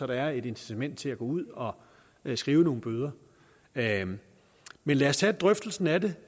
der er et incitament til at gå ud og skrive nogle bøder men men lad os tage drøftelsen af det